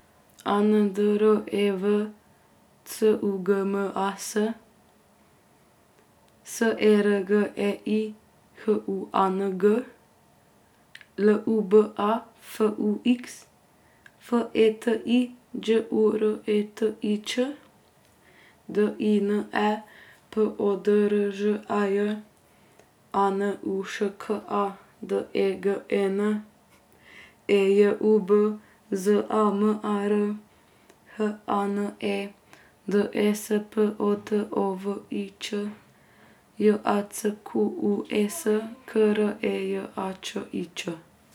A N D R E V, C U G M A S; S E R G E I, H U A N G; L U B A, F U X; F E T I, Đ U R E T I Ć; D I N E, P O D R Ž A J; A N U Š K A, D E G E N; E J U B, Z A M A R; H A N E, D E S P O T O V I Ć; J A C Q U E S, K R E J A Č I Č.